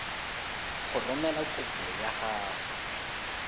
go romela kopo ya gago